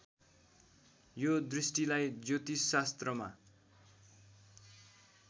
यो दृष्टिलाई ज्योतिषशास्त्रमा